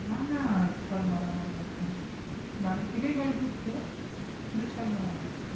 না না ছয় মারা মারি এখন দাঁড়িয়ে থেকে বল ছুড়ছে কিন্তু ছয় মারামারি